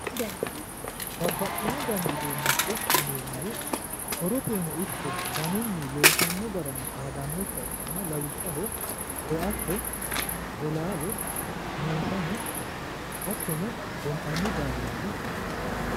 Babbaxxino dani uduunnicho yineemmohu horoteno ikko danuyino loosammo garino xaadannokkiha ikkanna lawishshaho, koatte, bolaale meesane hattono gonxanni daalasi